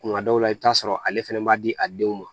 Kuma dɔw la i bi t'a sɔrɔ ale fɛnɛ b'a di a denw ma